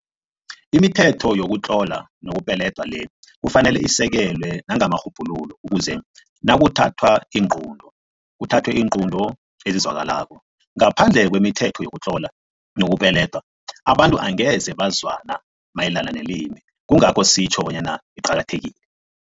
Imithetho yokutlola nokupeledwa le kufanele isekelwe nangamarhubhululo ukuze nakuthathwa iinqunto, kuthathwe iinqunto ezizwakalako. Ngaphandle kwemithetho yokutlola nokupeleda, abantu angeze bazwana mayelana nelimi, kungakho sitjho bona iqakathekile.